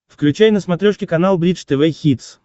включай на смотрешке канал бридж тв хитс